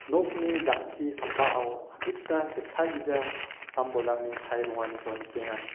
nokni jang·ki sambao adita setagija sam-bolrangni chae donganiko nikenga.